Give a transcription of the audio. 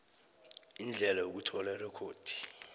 indlela yokuthola irekhodi